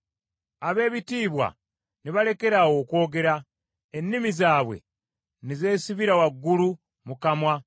ab’ebitiibwa ne balekeraawo okwogera, ennimi zaabwe ne zeesibira waggulu mu kamwa.